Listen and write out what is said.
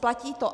Platí to.